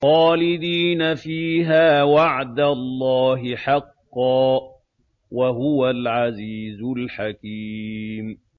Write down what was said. خَالِدِينَ فِيهَا ۖ وَعْدَ اللَّهِ حَقًّا ۚ وَهُوَ الْعَزِيزُ الْحَكِيمُ